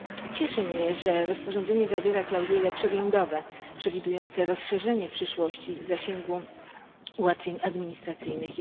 Cieszy mnie, że rozporządzenie zawiera klauzule przeglądowe, przewidujące rozszerzenie w przyszłości zasięgu ułatwień administracyjnych.